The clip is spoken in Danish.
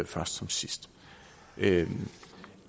først som sidst